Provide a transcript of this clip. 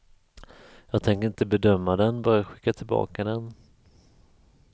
Jag tänker inte bedöma den, bara skicka tillbaka den.